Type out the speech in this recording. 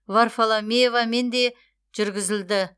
варфоломеевамен де жүргізілді